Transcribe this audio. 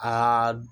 Aa